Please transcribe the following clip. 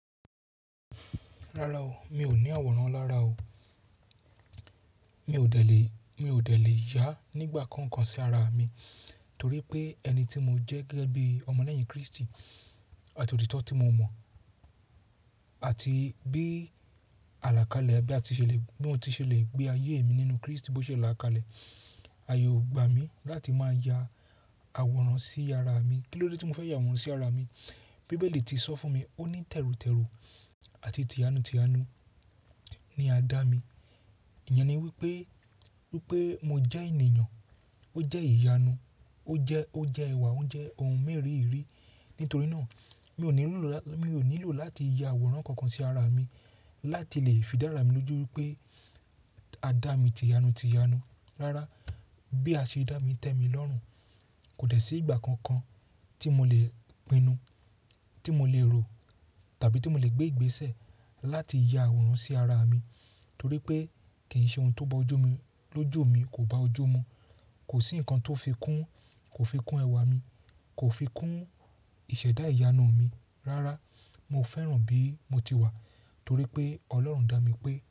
Rárá o, mi ò ní àwòrán lára o. Mi ò dẹ̀ lé, mi ò dẹ̀ lé yà nígbà kankan sí ara mi torí pé ẹni tí mo jẹ́ gẹ́gẹ́ bí ọmọ leyin Krístì àti òtítọ́ tí mo mọ̀ àti bí àlàkalẹ̀ bí a ti ṣe le, bí mo ti ṣe le gbé ayé mi nínú Krístì bó ṣe là kalẹ̀. Aaye o gbà mí láti máa ya àwòrán sí ara mi. Kí ló dé tí mo fẹ́ ya àwòrán sí ara mi? Bíbélì ti sọ fún mi, ó ní tẹrutẹru àti tiyanu tiyanu ni a dá mi. Ìyẹn ni wípé, wípé mo jẹ́ ènìyàn, ó jẹ́ ìyanu, ó jẹ́, ó jẹ́ ẹwà, ó jẹ́ ohun mèríìrí. Nítorí náà mi ò nílò, mi ò nílò láti ya àwòrán kankan sí ara mi láti lè fi dára mi lójú wípé a dá mi tiyanu tiyanu. Rárá, bí a ṣe dá mi tẹ́mi lọ́rùn kò dẹ̀ sí ìgbà kankan tí mo le pinnu, tí mo le rò tàbí tí mo le gbé ìgbésẹ̀ láti ya àwòrán sí ara mi torí pé kì í ṣe ohun tó bọ́ ojú mi, lójú mi kò bá ojú mu. Kò sí ǹkan tó fi kún, kò fi kún ẹwà mi, kò fi kún ìṣẹ̀dá ìyanu mi. Rárá, mo fẹ́ràn bí mo ti wà torí pé Ọlọ́run dá mi pé.